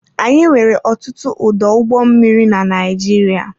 Anyị nwere ọtụtụ ọdụ ụgbọ mmiri na Naịjirịa.